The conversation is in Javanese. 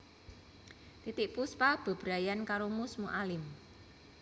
Titiek Puspa bebrayanan karo Mus Mualim